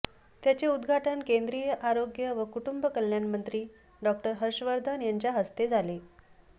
त्याचे उद्घाटन केंद्रीय आरोग्य व कुटुंब कल्याण मंत्री डॉ हर्ष वर्धन यांच्या हस्ते झाले